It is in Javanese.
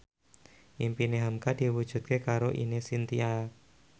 impine hamka diwujudke karo Ine Shintya